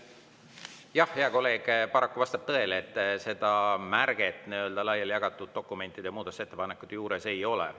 Jah, hea kolleeg, paraku vastab tõele, et seda märget laiali jagatud dokumentide ja muudatusettepanekute juures ei ole.